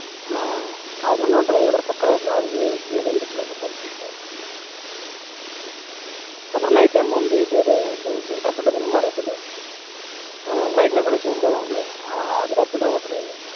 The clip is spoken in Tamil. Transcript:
ஆஹ் ராஜன் அண்ணாவும் driver ஆ பக்காவா போறாப்படி இது கொஞ்சம் plus salary இப்போ அப்பறம் night time வந்து repertoar தெரியுமா repertoar bike ல உட்கார வச்சு ஊத்துவோம்ல ஆஹ் அது repertoar ஓட்டுறார்